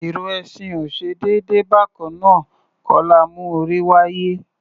Ìrù ẹṣin ò ṣe déédé; bákannáà kọ́ la mú orí wáyé.